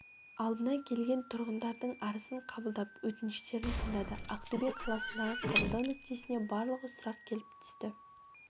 алдына келген тұрғындардың арызын қабылдап өтініштерін тыңдады ақтөбе қаласындағы қабылдау нүктесіне барлығы сұрақ келіп түскен